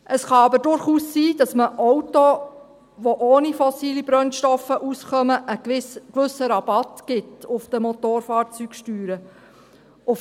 Es kann eben durchaus sein, dass man Autos, die ohne fossile Brennstoffe auskommen, einen gewissen Rabatt auf die Motorfahrzeugsteuern gibt.